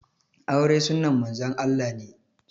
Aure sunnan Manzon Allah ne